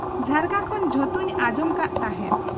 ᱡᱷᱟᱨᱠᱟ ᱠᱷᱚᱱ ᱡᱚᱛᱚᱧ ᱟᱸᱜᱡᱚᱢ ᱠᱟᱱ ᱛᱟᱦᱮᱸᱫ ᱾